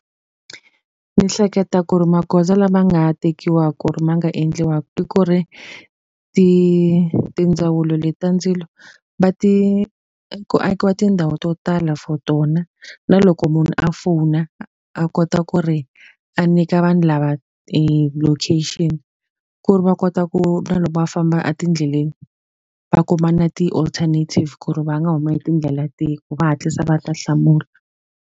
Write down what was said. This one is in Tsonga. Ni hleketa ku ri magoza lama nga tekiwaka ku ri ma nga endliwaka ku ri tindzawulo leti ta ndzilo, va ti ku akiwa tindhawu to tala for tona. Na loko munhu a fona, a kota ku ri a nyika vanhu lava e location. Ku ri va kota ku na loko va famba etindleleni, va kuma na ti-alternative ku ri va nga huma hi tindlela tihi. Ku va hatlisa va ta hlamula.